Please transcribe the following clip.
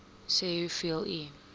sê hoeveel u